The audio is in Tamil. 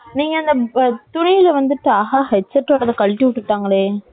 நீங்க அந்த துணில வந்துட்டு, ஹாஹா headset wire ஆ கழட்டி விட்டுட்டாங்களே.